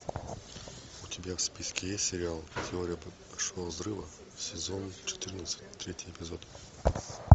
у тебя в списке есть сериал теория большого взрыва сезон четырнадцать третий эпизод